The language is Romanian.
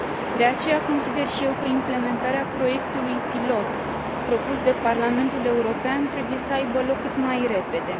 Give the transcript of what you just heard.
De aceea, consider și eu că implementarea proiectului pilot propus de Parlamentul European trebuie să aibă loc cât mai repede.